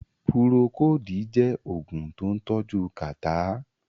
Pùròkòdí jẹ́ Ògùn tó ń tọ́jú kàtá